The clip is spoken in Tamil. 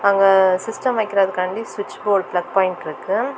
அங்க சிஸ்டம் வைக்கறாகண்டி சுவிட்ச்போர்டு பிளக் பாயிண்ட் இருக்கு.